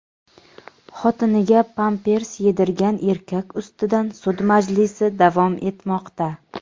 Xotiniga pampers yedirgan erkak ustidan sud majlisi davom etmoqda.